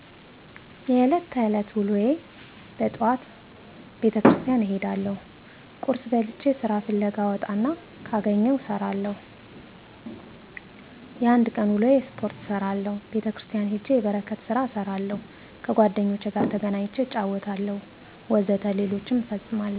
የእለት ተዕለት ወሎዬ በጠዋቱ ቤተክርስቲያን እሄዳለሁ ቁርስ በልቼ ስራ ፍለጋ እወጣና ካገኘሁም እሰራለሁ የአንድ ቀን ውሎዬ ስፖርት እሰራለሁ ቤተክርስቲያን ሄጄ የበረከት ስራ እሰራለሁ ከጓደኞቼ ጋር ተገናኝቼ እጫወታለሁ ወዘተ ሌሎችም እፈጽማለሁ።